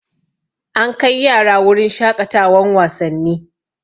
An kai yara wurin shaƙatawan wasanni